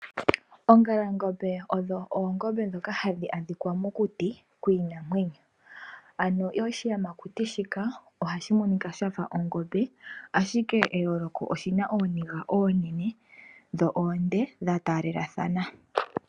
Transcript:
Ongalangombe odho oongombe dhoka hadhi adhikwa mokuti kwiinamwenyo ano oshiyamakuti shika ohashi monika shafa ongombe ashike eyooloko oshina ooniga oonene dho oonde dhatalelathana.